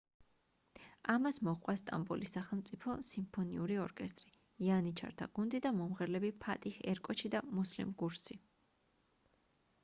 ამას მოჰყვა სტამბოლის სახელმწიფო სიმფონიური ორკესტრი იანიჩართა გუნდი და მომღერლები ფატიჰ ერკოჩი და მუსლიმ გურსი